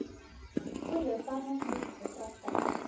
goeie farmaseutiese praktyk